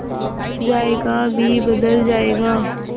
जायका भी बदल जाएगा